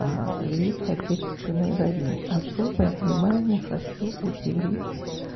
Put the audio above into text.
а великой отечественной войны особое внимание хочу уделить